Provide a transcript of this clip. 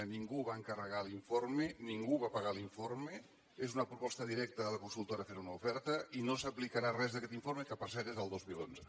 ningú va encarregar l’informe ningú va pagar l’informe és una proposta directa de la consultora fent una oferta i no s’aplicarà res d’aquest informe que per cert és del dos mil onze